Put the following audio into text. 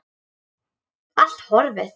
Allt horfið.